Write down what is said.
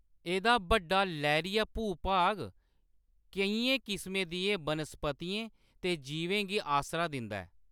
एह्‌‌‌दा बड्डा, लैह्‌‌रिया भूभाग केइयें किसमें दियें वनस्पतियें ते जीवें गी आसरा दिंदा ऐ।